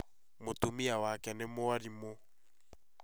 Mũtumia wake nĩ mwarimũ